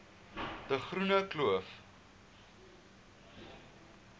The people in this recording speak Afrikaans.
de groene kloof